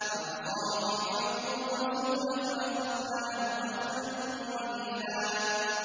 فَعَصَىٰ فِرْعَوْنُ الرَّسُولَ فَأَخَذْنَاهُ أَخْذًا وَبِيلًا